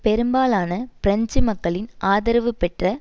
பெரும்பாலன French மக்களின் ஆதரவு பெற்ற